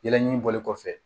Yɛlɛɲini bɔli kɔfɛ